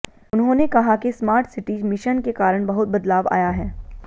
उन्होंने कहा कि स्मार्ट सिटी मिशन के कारण बहुत बदलाव आया है